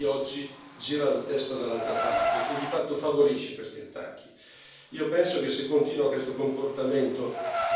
Abbiamo sostenuto le sue battaglie di libertà per lungo tempo ma lei oggi gira la testa dall'altra parte e di fatto favorisce questi attacchi.